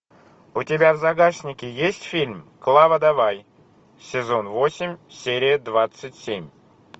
у тебя в загашнике есть фильм клава давай сезон восемь серия двадцать семь